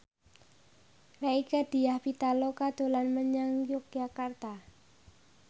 Rieke Diah Pitaloka dolan menyang Yogyakarta